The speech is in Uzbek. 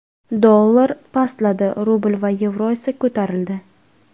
Dollar pastladi, rubl va yevro esa ko‘tarildi.